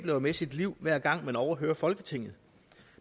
jo med sit liv hver gang man overhører folketinget